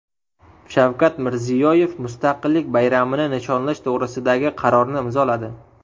Shavkat Mirziyoyev Mustaqillik bayramini nishonlash to‘g‘risidagi qarorni imzoladi.